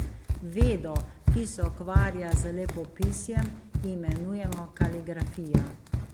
Vedo, ki se ukvarja z lepopisjem, imenujemo kaligrafija.